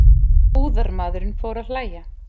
Búðarmaðurinn fór að hlæja.